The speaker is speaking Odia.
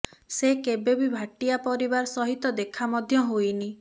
ସେ କେବେବି ଭାଟିଆ ପରିବାର ସହିତ ଦେଖା ମଧ୍ୟ ହୋଇନି